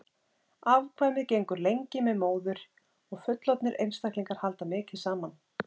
afkvæmið gengur lengi með móður og fullorðnir einstaklingar halda mikið saman